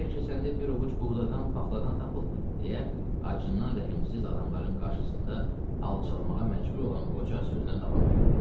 Bəlkə səndə bir ovuc buğdadan, paxladan tapıldı, deyə acından rəhimsiz adamların qarşısında alçalmağa məcbur olan qoca sözünə davam elədi.